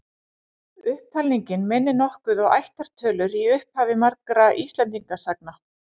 Upptalningin minnir nokkuð á ættartölur í upphafi margra Íslendingasagna.